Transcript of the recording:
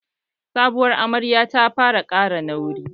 Sabuwar amaryar ta fara ƙara nauyi